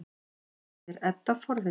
spyr Edda forvitin.